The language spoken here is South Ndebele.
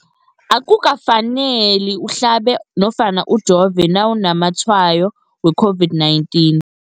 Akuka faneli uhlabe nofana ujove nawu namatshayo we-COVID-19.